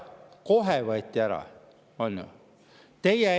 Kohe võeti ära!